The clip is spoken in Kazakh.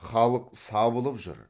халық сабылып жүр